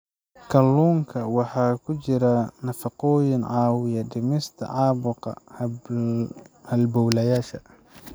Kalluunka waxaa ku jira nafaqooyin caawiya dhimista caabuqa halbowlayaasha.